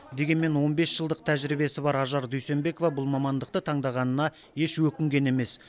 дегенмен он бес жылдық тәжірибесі бар ажар дүйсенбекова бұл мамандықты таңдағанына еш өкінген емес